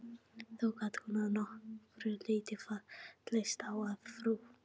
Þó gat hún að nokkru leyti fallist á að frú